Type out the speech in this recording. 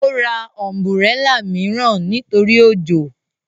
Ó ra ọ̀nbúrẹlà mìíràn nítorí òjò